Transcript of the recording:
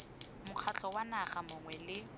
mokgatlho wa naga mongwe le